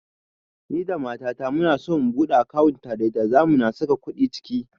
Ni da mata ta muna so mu buɗe akawunt tare da zamu na saka kuɗi ciki